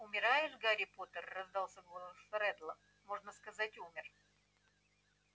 умираешь гарри поттер раздался голос реддла можно сказать умер